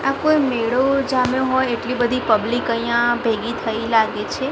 આ કોઈ મેળો જામ્યો હોય એટલી બધી પબ્લિક અહીંયા ભેગી થઈ લાગે છે.